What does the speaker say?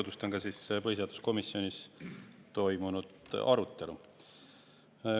Tutvustan ka põhiseaduskomisjonis toimunud arutelu.